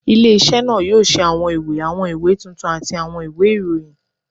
Ile-iṣẹ naa yoo ṣe awọn iwe, awọn iwe tuntun ati awọn iwe irohin